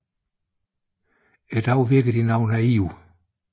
I dag virker de noget naive